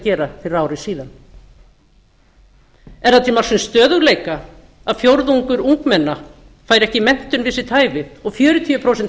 gera fyrir ari síðan er það til marks um stöðugleika að fjórðungur ungmenna fær ekki menntun við sitt hæfi og fjörutíu prósent